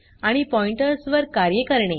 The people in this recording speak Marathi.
आणि पॉइंटर्स वर कार्ये करणे